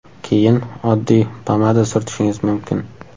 Keyin oddiy pomada surtishingiz mumkin.